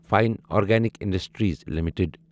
fine Organic Industries limited